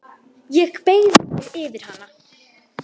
Ég beygi mig yfir hana.